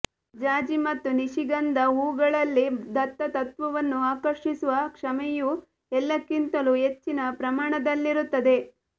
ಜಾಜಿ ಮತ್ತು ನಿಶಿಗಂಧ ಹೂವುಗಳಲ್ಲಿ ದತ್ತತತ್ತ್ವವನ್ನು ಆಕರ್ಷಿಸುವ ಕ್ಷಮತೆಯು ಎಲ್ಲಕ್ಕಿಂತಲೂ ಹೆಚ್ಚಿನ ಪ್ರಮಾಣದಲ್ಲಿರುತ್ತದೆ